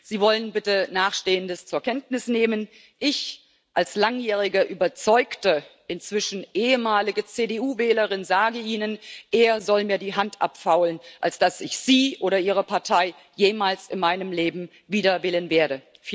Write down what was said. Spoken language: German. Sie wollen bitte Nachstehendes zur Kenntnis nehmen Ich als langjährige, überzeugte inzwischen ehemalige CDU Wählerin sage Ihnen Eher soll mir die Hand abfaulen, als dass ich Sie oder Ihre Partei jemals in meinem Leben wieder wählen werde.